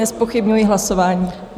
Nezpochybňuji hlasování.